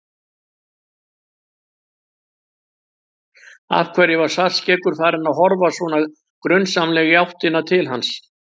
Af hverju var Svartskeggur farinn að horfa svona grunsamlega í áttina til hans?